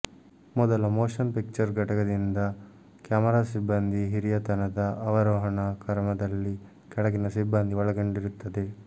ಮೊದಲ motion picture ಘಟಕದಿಂದ camera ಸಿಬ್ಬಂದಿ ಹಿರಿಯತನದ ಅವರೋಹಣ ಕ್ರಮದಲ್ಲಿ ಕೆಳಗಿನ ಸಿಬ್ಬಂದಿ ಒಳಗೊಂಡಿರುತ್ತದೆ